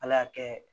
Ala y'a kɛ